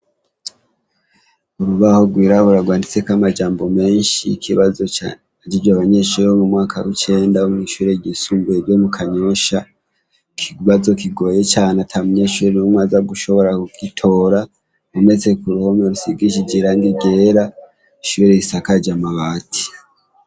Urubaho gwirabura rwanditsek' amajambo menshi y' ikibazo ca hejej' abanyeshure bo mu mwaka w'icenda bo mwishure ry' isumbuye ryo mu kanyosha, ikibazo kigoye can' atamunyeshure n' umw' azagushobora kugitora, kuruhome rusigishij' irangi ryera, ishure risakaj' amabati.